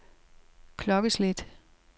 klokkeslæt